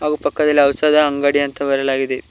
ಹಾಗೂ ಪಕ್ಕದಲ್ಲಿ ಔಷಧ ಅಂಗಡಿ ಅಂತ ಬರೆಯಲಾಗಿದೆ.